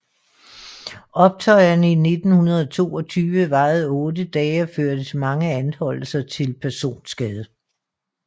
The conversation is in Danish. Optøjerne i 1922 varede otte dage og førte til mange anholdelser og til personskade